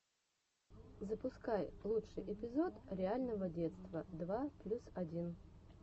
запускай лучший эпизод реального детства два плюс один